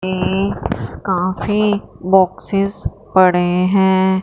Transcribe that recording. ये काफी बॉक्सेस पड़े हैं।